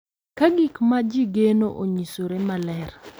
Ka gik ma ji geno onyisore maler,